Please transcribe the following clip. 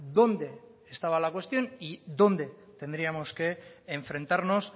dónde estaba la cuestión y dónde tendríamos que enfrentarnos